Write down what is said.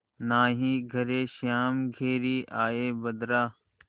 नाहीं घरे श्याम घेरि आये बदरा